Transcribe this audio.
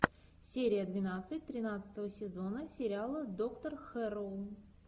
серия двенадцать тринадцатого сезона сериала доктор хэрроу